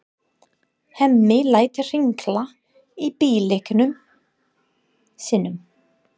Hemmi lætur hringla í bíllyklunum sínum.